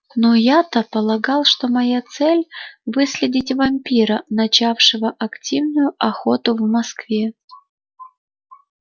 ну я-то полагал что моя цель выследить вампира начавшего активную охоту в москве